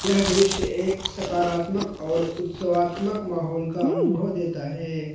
यह दृश्य एक सकारात्मक और उत्सवत्मक माहौल का अनुभव देता है।